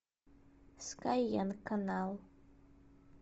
скайенг канал